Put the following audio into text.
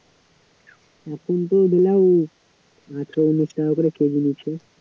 এখন তো বেলায় চল্লিশ টাকা করে কেজি নিচ্ছে